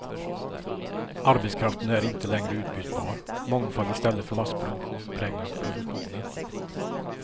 Arbetskraften är inte längre utbytbar, mångfald i stället för massproduktion präglar produktionen.